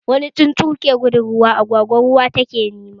Wani tsuntsu ke gudun ruwa, agwagwa ruwa take nema